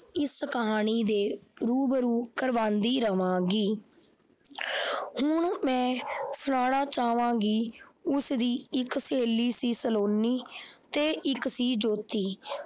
ਇਸ ਕਹਾਣੀ ਦੇ ਰੂਬਰੂ ਕਵਾਉਂਦੀ ਰਵਾਂਗੀ ਹੁਣ ਮੈਂ ਸੁਣਾਉਣਾ ਚਾਹਵਾਂਗੀ ਉਸਦੀ ਇੱਕ ਸਹੇਲੀ ਸੀ ਸਲੋਨੀ ਤੇ ਇੱਕ ਸੀ ਜੋਤੀ।